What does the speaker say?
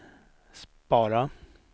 spara